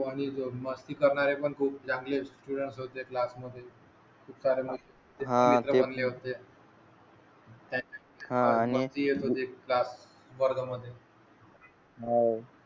हो आणि मस्ती करणारे खूप पण चांगले स्टूडेंट होते क्लास मध्ये